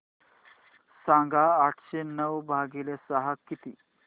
सांगा आठशे नऊ भागीले सहा किती